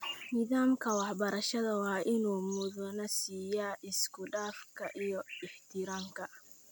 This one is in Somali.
Nidaamka waxbarashada waa in uu mudnaan siiyaa isku-dhafka iyo ixtiraamka.